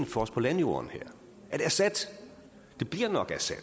for os på landjorden er det assad det bliver nok assad